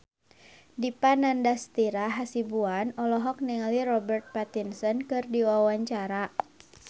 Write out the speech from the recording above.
Dipa Nandastyra Hasibuan olohok ningali Robert Pattinson keur diwawancara